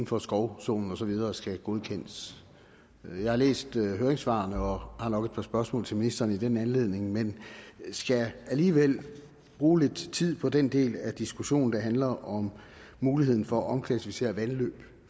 for skovzonen og så videre skal godkendes jeg har læst høringssvarene og har nok et par spørgsmål til ministeren i den anledning men skal alligevel bruge lidt tid på den del af diskussionen der handler om muligheden for at omklassificere vandløb